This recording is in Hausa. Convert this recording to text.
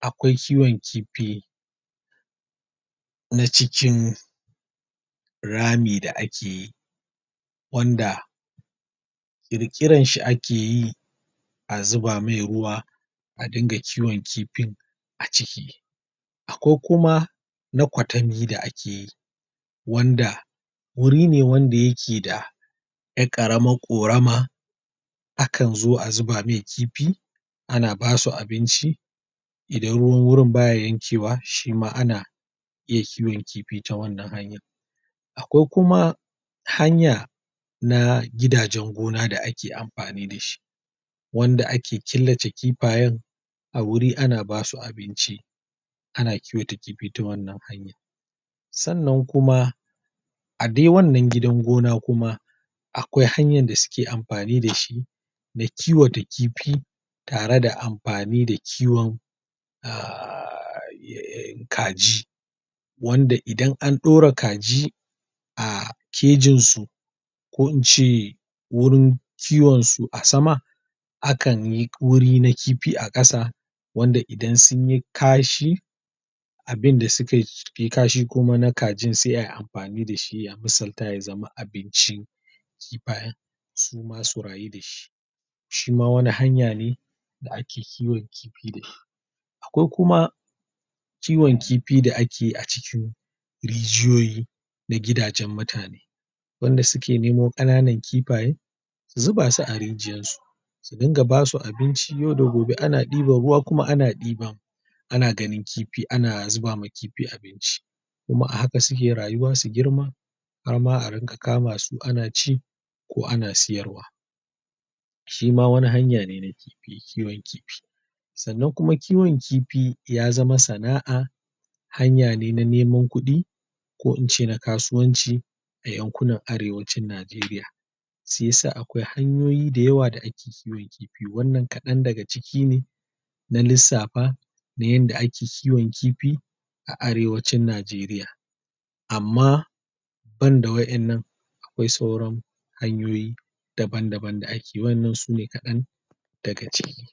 akwai kiwan kifi na cikin rami da akeyi wanda kirkirarshi akeyi zuba mai ruwa a dinga kiwan kifin a ciki akwai kuma naƙatami da akeyi wanda guri ne wanda yake da ƴar ƙaramar korama akanzo a zuba mai kifi ana basu abinci idan ruwan wurin baya yankewa shima ana iya kiwan kifi ta wannan hanya akwai kuma hanya na gidajan gona da ake amfani dashi wanda ake killace kifayan a wuri ana basu abinci ana kiwata kifi ta wannan hanya sannan kuma a dai wannan gidan gona kuma akwai hanyan da suke amfani dashi na kiwata kifi tare da amfani da kiwan a kaji wanda idan anɗaura kaji a kejinsu ko ince wurin kiwansu a sama akanyi wuri na kifi a ƙasa wanda idan sunyi kashi abinda sukayi kashi kuma na kajin sai ai amfani dashi ya misalta ya zama abinci kifaye suma su rayu dashi shima wani hanyane da ake kiwan kifi dashi akwai kuma kiwan kifi da akeyi a cikin rijiyoyi da gidajan mutane wanda suke nemo kanana kifiye su zubasu a rijiyarsu su ringa basu abinci yau da gobe ana ɗeban ruwa kuma ana ɗiba ana ganin kifi ana zubama kifi abinc kumai a haka suke rayuwa su girma harna a ringa kamsu ana ci ko ana siyarwa shima wani hanya ne na kifi kiwan kifi sannan kuma kiwan kifi ya zama sana'a hanyane na neman kuɗi ko ince na kasuwanci a yankunan arewacin najeriya siyasa akwai hanyoyi da yawa da ake kiwan kifi wannan kaɗan daga ciki ne na lissafa na yanda ake kiwan kifi a arewacin najeriya amma banda wa innan akwai sauran hanyoyi daban daban da akeyi wa innan sune kaɗan daga ciki